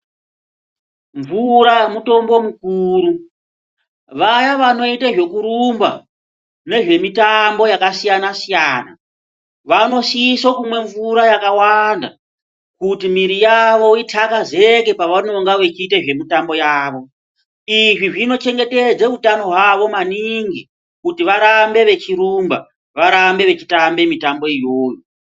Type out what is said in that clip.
Mvura mutombo mukuru vaya vanoita zvekurumba nezve mitambo yakasiyana-siyana vanosise kumwe mvura yakawanda kuti mwiri yavo itakazeke pavanenge vachiita zvemitambo yavo. Izvi zvinochengetedze mitambo yavo maningi kuti varambe vechirumba, varambe vechiita mitambo iyoyo.